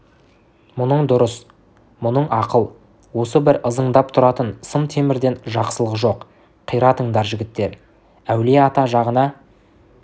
мұның дұрыс мұның ақыл осы бір ызыңдап тұратын сым темірден жақсылық жоқ қиратыңдар жігіттер әулие-ата жағына